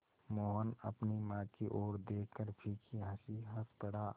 मोहन अपनी माँ की ओर देखकर फीकी हँसी हँस पड़ा